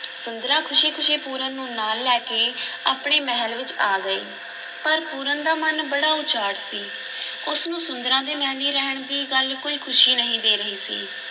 ਸੁੰਦਰਾਂ ਖ਼ੁਸ਼ੀ-ਖ਼ੁਸ਼ੀ ਪੂਰਨ ਨੂੰ ਨਾਲ ਲੈ ਕੇ ਆਪਣੇ ਮਹਿਲ ਵਿੱਚ ਆ ਗਈ ਪਰ ਪੂਰਨ ਦਾ ਮਨ ਬੜਾ ਉਚਾਟ ਸੀ, ਉਸ ਨੂੰ ਸੁੰਦਰਾਂ ਦੇ ਮਹਿਲੀਂ ਰਹਿਣ ਦੀ ਗੱਲ ਕੋਈ ਖ਼ੁਸ਼ੀ ਨਹੀਂ ਦੇ ਰਹੀ ਸੀ।